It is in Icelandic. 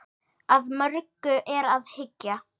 Að mörgu er að hyggja.